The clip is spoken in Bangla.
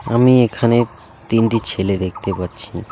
আমি এখানে তিনটি ছেলে দেখতে পাচ্ছি।